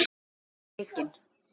Hvað fannst þér um leikinn?